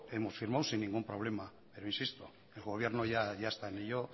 hemos firmado sin ningún problema pero insisto el gobierno ya está en ello